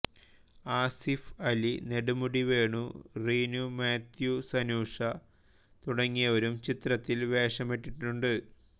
ആസിഫ് അലി നെടുമുടി വേണുറീനു മാത്യൂസ്സനൂഷ തുടങ്ങിയവരും ചിത്രത്തിൽ വേഷമിട്ടിട്ടുണ്ട്